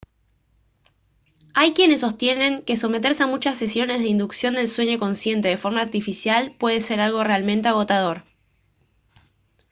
hay quienes sostienen que someterse a muchas sesiones de inducción del sueño consciente de forma artificial puede ser algo realmente agotador